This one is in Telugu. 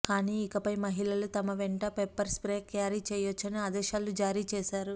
కానీ ఇకపై మహిళలు తమ వెంట పెప్పర్ స్ప్రే క్యారీ చేయొచ్చని ఆదేశాలు జారీ చేశారు